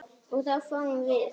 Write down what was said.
og þá fáum við